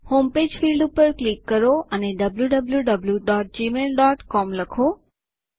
home page field ઉપર click કરો અને wwwgmailcom લખો